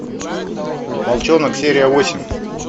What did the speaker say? волчонок серия восемь